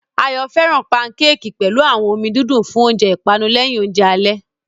Ayo fẹ́ràn pankéèkì pẹ̀lú omi dídùn fún oúnjẹ ìpanu lẹ́yìn oúnjẹ alẹ́.